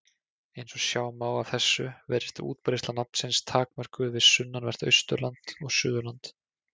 Eins og sjá má af þessu virðist útbreiðsla nafnsins takmörkuð við sunnanvert Austurland og Suðurland.